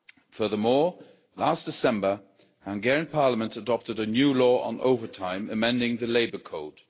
Furthermore, last December, the Hungarian Parliament adopted a new law on overtime, amending the Labour Code.